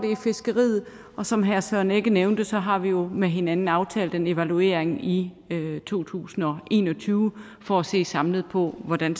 fiskeriet og som herre søren egge rasmussen nævnte har vi jo med hinanden aftalt en evaluering i to tusind og en og tyve for at se samlet på hvordan